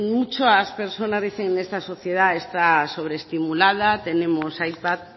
muchas personas dicen de esta sociedad está sobre estimulada tenemos ipad